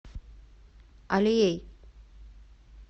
алией